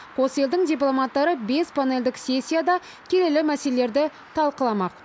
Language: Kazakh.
қос елдің дипломаттары бес панельдік сессияда келелі мәселелерді талқыламақ